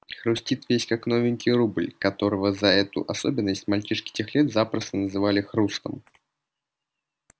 хрустит весь как новенький рубль которого за эту особенность мальчишки тех лет запросто называли хрустом